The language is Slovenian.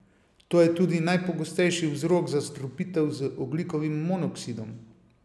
To je tudi najpogostejši vzrok zastrupitev z ogljikovim monoksidom.